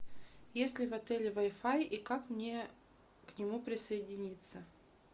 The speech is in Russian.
есть ли в отеле вай фай и как мне к нему присоединиться